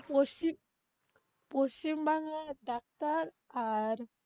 পশ্চিমবাংলার doctor আর,